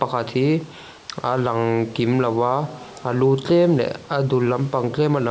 pakhat hi a lang kim lo a a lu tlem leh a dul lampang tlem a la--